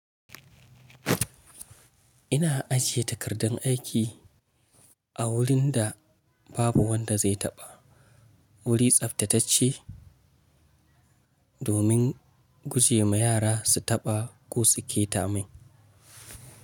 Ina ajiye takardan aiki a wurin da babu wanda zai taɓa, wuri tsaftatacce domin guje ma yara su taɓa ko su ƙeta mai.